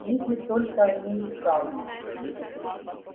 если только они исправны